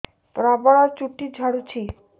ପ୍ରବଳ ଚୁଟି ଝଡୁଛି